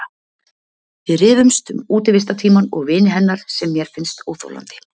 Við rífumst um útivistartímann og vini hennar sem mér finnst óþolandi.